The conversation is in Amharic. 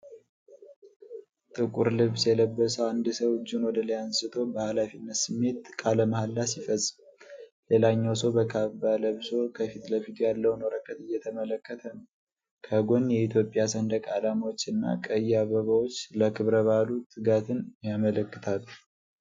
ጥቁር ልብስ የለበሰ አንድ ሰው እጁን ወደ ላይ አንስቶ በኃላፊነት ስሜት ቃለ መሐላ ሲፈጽም፣ ሌላኛው ሰው በካባ ለብሶ ከፊት ለፊቱ ያለውን ወረቀት እየተመለከተ ነው። ከጎን የኢትዮጵያ ሰንደቅ ዓላማዎች እና ቀይ አበባዎች ለክብረ በዓሉ ትጋትን ያመለክታሉ።